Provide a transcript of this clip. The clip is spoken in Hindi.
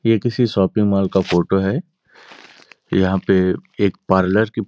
ये किसी शापिंग मॉल का फोटो है। यहाँ पे एक पार्लर की --